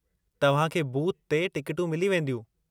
तव्हांखे बूथ ते टिकटूं मिली वेंदियूं।